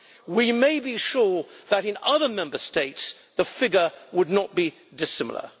We may be sure that in other Member States the figure would not be dissimilar.